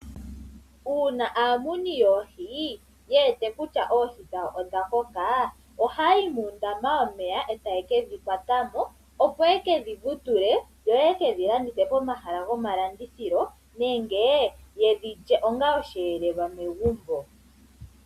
Una aamuni yoohi ye wete kutya oohi dhawo odha koka. Ohaya yi mundama wawo womeya etaye ke dhi kwata mo opo ye kedhi vutule yoye kedhilandithe komahala komalandithilo nenge ye dhi lye ongaa oshelelwa megumbo.